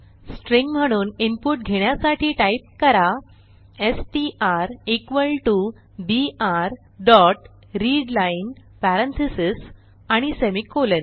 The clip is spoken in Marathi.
स्ट्रिंग म्हणून इनपुट घेण्यासाठी टाईप करा STR equal to BR dot readline parentheses आणि सेमिकोलॉन